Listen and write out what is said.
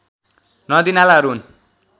नदीनालाहरू हुन्